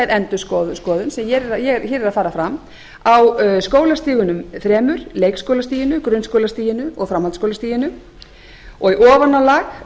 endurskoðun sem hér er að fara fram á skólastigunum þremur leikskólastiginu grunnskólastiginu og framhaldsskólastiginu í ofanálag